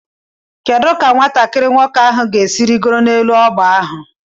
Kedu ka nwatakiri nwoke ahụ ga-esi rịgoro n'elu ọgba ahụ?